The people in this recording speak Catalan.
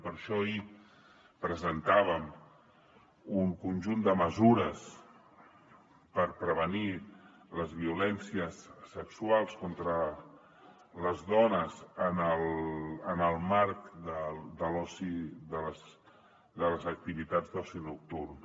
per això ahir presentàvem un conjunt de mesures per prevenir les violències sexuals contra les dones en el marc de les activitats d’oci nocturn